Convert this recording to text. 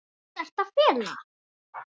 Hvað ertu að fela?